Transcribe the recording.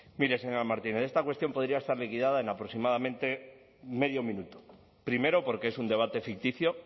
mire señora martínez esta cuestión podría estar liquidada en aproximadamente medio minuto primero porque es un debate ficticio